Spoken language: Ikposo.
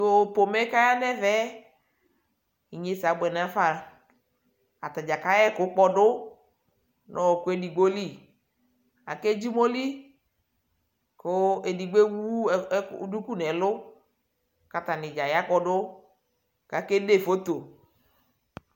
tʋ pɔmɛ kʋ ayaba ɛvɛ, inyɛsɛ abʋɛ nʋ aƒã, atagya kayɛ ɛkʋ kpɔdʋ nʋ ɔkʋ ɛdigbɔ li, akɛ dzi ʋmɔli kʋ ɛdigbɔ ɛwʋ dʋkʋ nʋ ɛlʋ kʋ atani gya ya kpɔdʋ kʋ akɛ dɛphɔtɔ